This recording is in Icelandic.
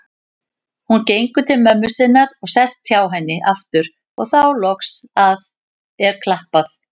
Hún gengur til mömmu sinnar og sest hjá henni aftur og þá loks er klappað.